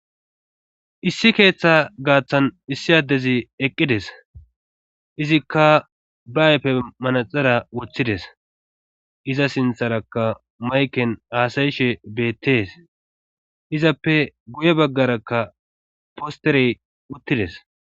Issi keeththa gaaththan issi addezi eqqides izikka ba aype manaxara woththides iza sintharaka mayken aasayishe beettees izappe guye baggarakka posterey uttides.